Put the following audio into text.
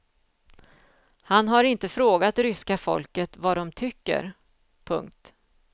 Han har inte frågat ryska folket vad de tycker. punkt